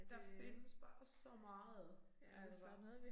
Der findes bare så meget altså